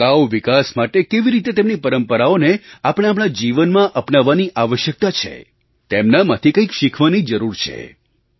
ટકાઉ વિકાસ માટે કેવી રીતે તેમની પરંપરાઓને આપણે આપણા જીવનમાં અપનાવવાની આવશ્યકતા છે તેમનામાંથી કંઈક શીખવાની જરૂર છે